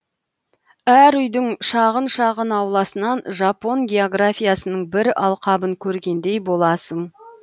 әр үйдің шағын шағын ауласынан жапон географиясының бір алқабын көргендей боласың